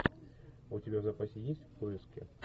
у тебя в запасе есть в поиске